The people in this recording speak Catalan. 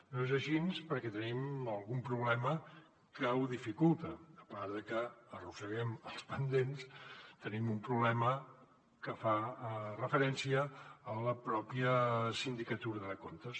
no és així perquè tenim algun problema que ho dificulta a part de que arrosseguem els pendents tenim un problema que fa referència a la pròpia sindicatura de comptes